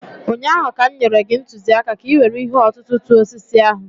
ụnyaahụ ka m nyere gị ntụziaka ka ị were ihe ọ̀tụ̀tụ̀ tụọ osisi ahụ.